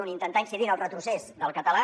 un intentar incidir en el retrocés del català